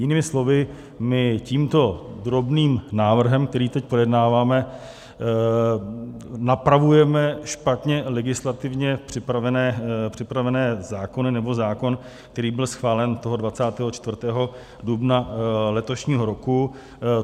Jinými slovy, my tímto drobným návrhem, který teď projednáváme, napravujeme špatně legislativně připravené zákony, nebo zákon, který byl schválen toho 24. dubna letošního roku.